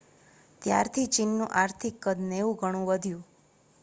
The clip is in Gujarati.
ત્યારથી ચીનનું આર્થિક કદ 90 ગણું વધ્યું